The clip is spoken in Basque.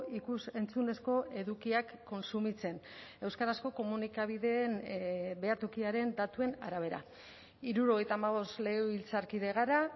ikus entzunezko edukiak kontsumitzen euskarazko komunikabideen behatokiaren datuen arabera hirurogeita hamabost legebiltzarkide gara